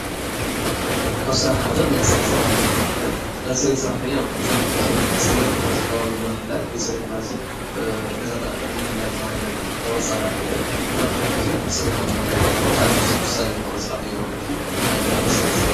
ካብ ስራሕ ሓደ ናይ ፅሬት ስራሕተኛታት እየን፡፡ ናይ ፅሬት ሰራሕተኛ ቡዙሕ ግዜ ፅሬት ናይዚ ከባቢ ንምሕላው ወይ ፅሬት ገዛ ንምሕላው ተባሂለን ዝቁፀራ እየን፡፡ እና ቡዙሕ ግዜ ፅሬት ንምሕላው ብጣዕሚ ወሳኒ ዝኮነ ስራሕ ማለት እዩ፡፡ ናይ ፅሬት ስራሕ